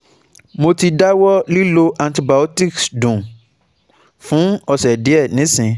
Mo ti dawọ lilo antibiotics dun fun ose diẹ nisin